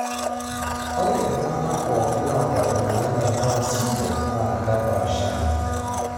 ore oltungani pooki oata emoyian e Down syndrome na kepaashari.